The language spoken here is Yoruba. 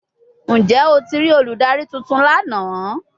Njẹ o ti rii oludari tuntun lana?